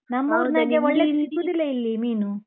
ಸಿಕ್ಕುದಿಲ್ಲ ಇಲ್ಲಿ ಮೀನು.